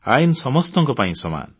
ଆଇନ ସମସ୍ତଙ୍କ ପାଇଁ ସମାନ